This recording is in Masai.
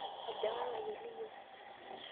aja ilng'anayio liyieu?